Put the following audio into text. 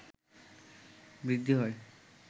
বৃদ্ধি হয়